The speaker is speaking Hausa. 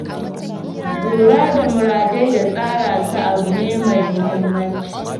Lura da muradai da tsara su abu ne mai muhimmanci.